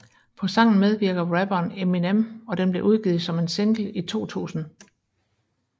På sangen medvirker rapperen Eminem og den blev udgivet som en single i 2000